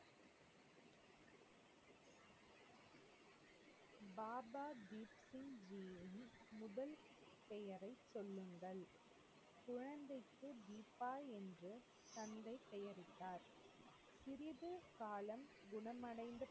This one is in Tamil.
காலம் குணமடைந்தது.